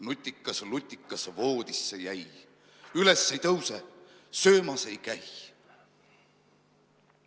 Nutikas lutikas voodisse jäi, üles ei tõuse, söömas ei käi.